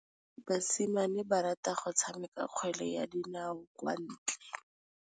Basimane ba rata go tshameka kgwele ya dinaô kwa ntle.